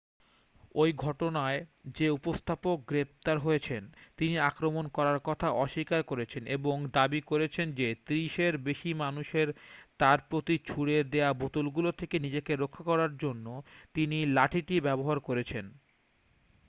ওই ঘটনায় যে উপস্থাপক গ্রেফতার হয়েছেন তিনি আক্রমণ করার কথা অস্বীকার করেছেন এবং দাবী করেছেন যে ত্রিশের বেশী মানুষের তার প্রতি ছুড়ে দেয়া বোতলগুলো থেকে নিজেকে রক্ষা করার জন্য তিনি লাঠিটি ব্যবহার করেছেন